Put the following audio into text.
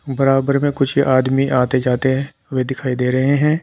बराबर में कुछ आदमी आते जाते हुए दिखाई दे रहे है।